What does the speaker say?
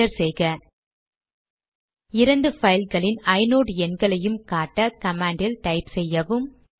enter செய்க இரண்டு பைல்களின் ஐநோட் எண்களையும் காட்ட கமாண்ட் டைப் செய்யவும்